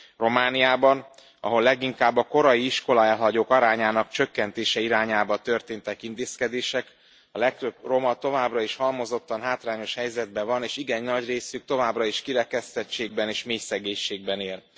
Romániában, ahol leginkább a korai iskolaelhagyók arányának csökkentése irányába történtek intézkedések, a legtöbb roma továbbra is halmozottan hátrányos helyzetben van, és igen nagy részük továbbra is kirekesztettségben és mélyszegénységben él.